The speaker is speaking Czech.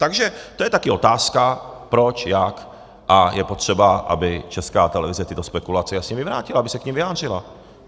Takže to je taky otázka, proč, jak, a je potřeba, aby Česká televize tyto spekulace jasně vyvrátila, aby se k nim vyjádřila.